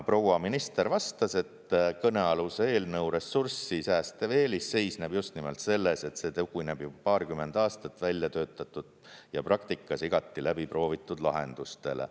Proua minister vastas, et kõnealuse eelnõu ressurssi säästev eelis seisneb just nimelt selles, et see tugineb juba paarkümmend aastat välja töötatud ja praktikas igati läbiproovitud lahendustele.